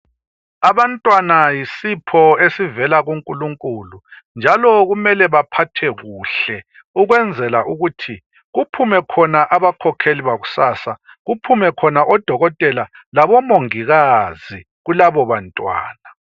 Abantwana yisipho esivela ku Nkulunkulu, njalo kumele baphathwe kuhle, ukwenzela ukuthi kuphume khona abakhokheli bakusasa, kuphume khona odokotela labomongikazi kulabo bantwana.